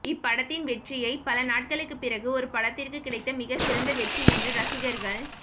இப்படத்தின் வெற்றியை பல நாட்களுக்கு பிறகு ஒரு படத்திற்கு கிடைத்த மிக சிறந்த வெற்றி என்று ரசிகர்கள்